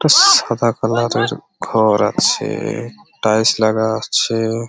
সাদা কালার এর ঘর আছে টাইলস লাগা আছে ।